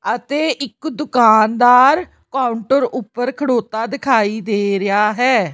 ਅਤੇ ਇੱਕ ਦੁਕਾਨਦਾਰ ਕਾਊਂਟਰ ਉੱਪਰ ਖੜੋਤਾ ਦਿਖਾਈ ਦੇ ਰਿਹਾ ਹੈ।